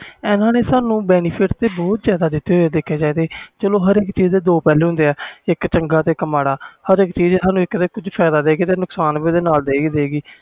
ਇਹਨਾਂ ਨੇ ਸਾਨੂ benefit ਬਹੁਤ ਦਿਤੇ ਆ ਦੇਖਿਆ ਜਾਵੇ ਹਰ ਇਕ ਚੀਜ਼ ਦੇ ਦੋ ਪਹਿਲੂ ਹੁੰਦੇ ਆ ਇਕ ਚੰਗਾ ਤੇ ਇਕ ਮਾੜਾ ਜੇ ਫਾਇਦਾ ਆ ਤੇ ਨੁਕਸਾਨ ਵੀ ਓਹਦੇ ਨਾਲ ਹੀ ਆ